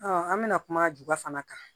an bɛna kuma juba fana kan